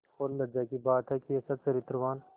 और लज्जा की बात है कि ऐसा चरित्रवान